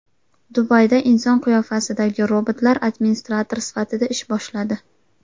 Dubayda inson qiyofasidagi robotlar administrator sifatida ish boshladi.